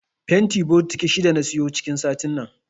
Fanti bokiti shida na siyo cikin satin nan.